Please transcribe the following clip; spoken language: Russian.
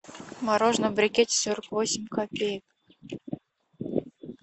мороженое в брикете сорок восемь копеек